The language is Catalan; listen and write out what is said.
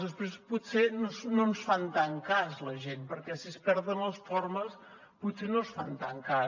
després potser no ens fan tant cas la gent perquè si es perden les formes potser no ens fan tant cas